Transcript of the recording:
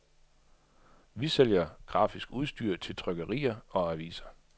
Vi sælger grafisk udstyr til trykkerier og aviser.